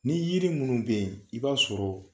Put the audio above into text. Ni yiri minnu bɛ yen i b'a sɔrɔ